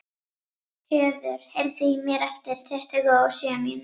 Höður, heyrðu í mér eftir tuttugu og sjö mínútur.